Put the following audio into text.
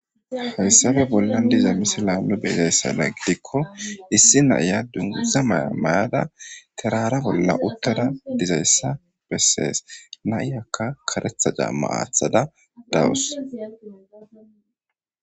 Hayssafe bollan diza misila nu be7izayssana gidikko issi na7iya dungguza maya mayada terara bolla uttada dizayssa bessees. Na7iyakka kareetha camma aaththada dawus.